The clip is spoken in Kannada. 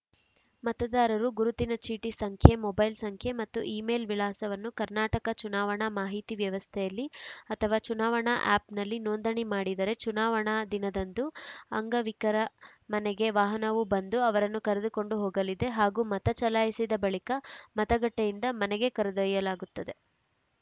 ಮತದಾರರು ಗುರುತಿನ ಚೀಟಿ ಸಂಖ್ಯೆ ಮೊಬೈಲ್‌ ಸಂಖ್ಯೆ ಮತ್ತು ಇಮೇಲ್‌ ವಿಳಾಸವನ್ನು ಕರ್ನಾಟಕ ಚುನಾವಣಾ ಮಾಹಿತಿ ವ್ಯವಸ್ಥೆಯಲ್ಲಿ ಅಥವಾ ಚುನಾವಣಾ ಆ್ಯಪ್‌ನಲ್ಲಿ ನೋಂದಣಿ ಮಾಡಿದರೆ ಚುನಾವಣಾ ದಿನದಂದು ಅಂಗವಿಕರ ಮನೆಗೆ ವಾಹನವು ಬಂದು ಅವರನ್ನು ಕರೆದುಕೊಂಡು ಹೋಗಲಿದೆ ಹಾಗೂ ಮತ ಚಲಾಯಿಸಿದ ಬಳಿಕ ಮತಗಟ್ಟೆಯಿಂದ ಮನೆಗೆ ಕರೆದೊಯ್ಯಲಾಗುತ್ತದೆ